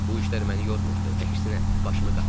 Bu işlər məni yormurdu, əksinə başımı qatırdı.